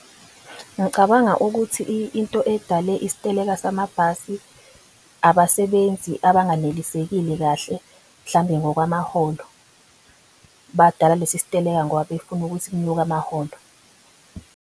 Ngicabanga ukuthi into edale isiteleka samabhasi abasebenzi abanganelisekile kahle mhlambe ngokwamaholo. Badala lesi siteleka ngoba befuna ukuthi kunyuke amaholo.